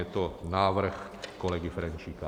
Je to návrh kolegy Ferjenčíka.